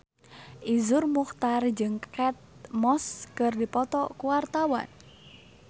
Iszur Muchtar jeung Kate Moss keur dipoto ku wartawan